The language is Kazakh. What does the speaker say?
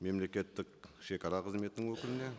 мемлекеттік шегара қызметінің өкіліне